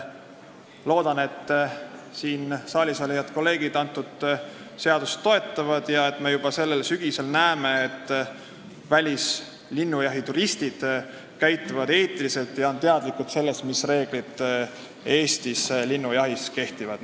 Loodan, et siin saalis olevad kolleegid eelnõu toetavad ning me juba sellel sügisel näeme, et välismaalastest linnujahituristid käituvad eetiliselt ja on teadlikud sellest, mis reeglid Eestis linnujahil kehtivad.